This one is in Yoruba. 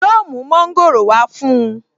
Yóò mu Mọ́ńgòrò wá fún un